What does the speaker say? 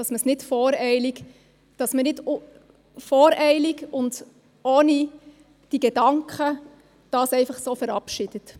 Dies, damit man das nicht voreilig und ohne diese Gedanken einfach so verabschiedet.